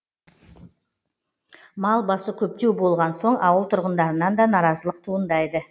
мал басы көптеу болған соң ауыл тұрғындарынан да наразылық туындайды